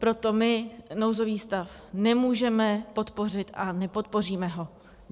Proto my nouzový stav nemůžeme podpořit a nepodpoříme ho.